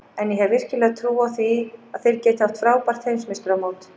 En ég hef virkilega trú á því að þeir geti átt frábært Heimsmeistaramót.